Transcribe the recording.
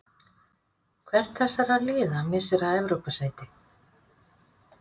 Hvert þessara liða missir af Evrópusæti?